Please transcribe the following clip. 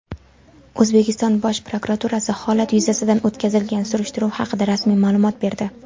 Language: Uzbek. O‘zbekiston Bosh prokuraturasi holat yuzasidan o‘tkazilgan surishtiruv haqida rasmiy ma’lumot berdi.